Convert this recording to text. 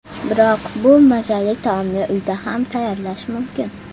Biroq bu mazali taomni uyda ham tayyorlash mumkin.